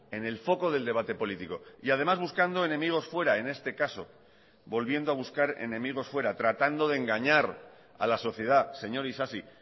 en el foco del debate político y además buscando enemigos fuera en este caso volviendo a buscar enemigos fuera tratando de engañar a la sociedad señor isasi